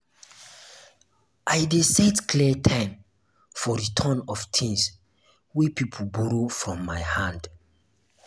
i dey set clear time for return of tins wey pipo um borrow from my hand. um